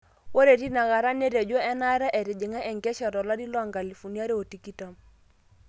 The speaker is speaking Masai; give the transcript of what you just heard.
Ore tinakata, netejo enata etijinga enkesha tolari le 2020.